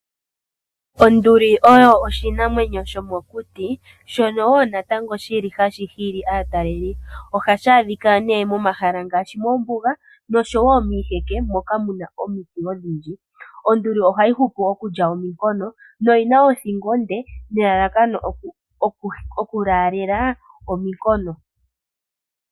Onduli oyo oshinamwenyo shomokuti shono wo natango shili hashi hili aatalelipo ohashi adhika nee momahala ngaashi moombuga noshowo miiheke moka muna omiti odhindji, onduli ohayi hupu okulya ominkono noyina othingo onde nelalakano okulaalela ominkono.